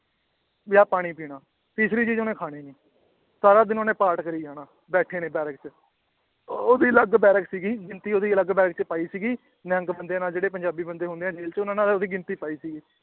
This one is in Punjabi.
ਜਾਂ ਪਾਣੀ ਪੀਣਾ, ਤੀਸਰੀ ਚੀਜ਼ ਉਹਨੇ ਖਾਣੀ ਨੀ ਸਾਰਾ ਦਿਨ ਉਹਨੇ ਪਾਠ ਕਰੀ ਜਾਣਾ ਬੈਠੇ ਨੇ ਬੈਰਕ ਚ ਉਹਦੀ ਅਲੱਗ ਬੈਰਕ ਸੀਗੀ ਉਹਦੀ ਅਲੱਗ ਬੈਰਕ ਚ ਪਾਈ ਸੀਗੀ ਨਿਹੰਗ ਬੰਦੇ ਨਾਲ ਜਿਹੜੇ ਪੰਜਾਬੀ ਬੰਦੇ ਹੁੰਦੇ ਆ ਜੇਲ੍ਹ ਚ ਉਹਨਾਂ ਨਾਲ ਉਹਦੀ ਗਿਣਤੀ ਪਾਈ ਸੀਗੀ